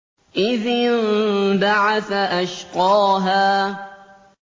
إِذِ انبَعَثَ أَشْقَاهَا